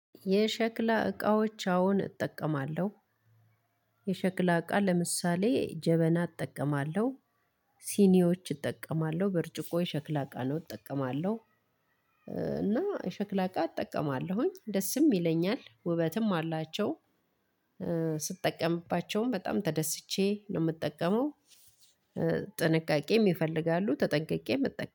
የሸክላ እቃዎች አሁን እጠቀማለሁ። የሸክላ እቃ ለምሳሌ ጀበና እጠቀማለሁ። ሲኒዎች እጠቀማለሁ ብርጭቆ የሸክላ እቃ ነው እጠቀማለሁ። እና የሸክላ እቃ እጠቀማለሁኝ ደስም ይለኛል ውበትም አላቸው። ስጠቀምባቸውም በጣም ተደስቼ ነው የምጠቀመው። ጥንቃቄም ይፈልጋሉ ተጠንቅቄም እጠቀ